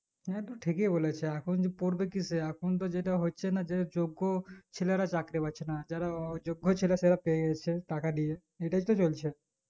না তু ঠিকই বলেছো এখন পড়বো কিসে এখন তো যেটা হচ্ছে না যে যোগ্য ছেলেরা চাকরি পাচ্ছে না যারা অযোগ্য ছেলে তারা পেয়েযাচ্ছে টাকা দিয়ে এটাই তো চলছে